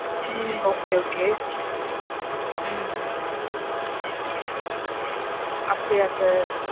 உம் okay, okay. உம் உம் அப்டியா sir.